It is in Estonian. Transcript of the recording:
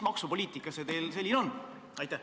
Mis maksupoliitika see teil selline on?